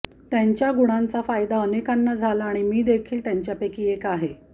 त्यांच्या या गुणांचा फायदा अनेकांना झाला आणि मीदेखील त्यांच्यापैकी एक आहे